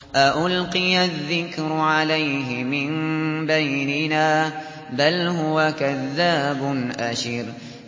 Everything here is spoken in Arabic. أَأُلْقِيَ الذِّكْرُ عَلَيْهِ مِن بَيْنِنَا بَلْ هُوَ كَذَّابٌ أَشِرٌ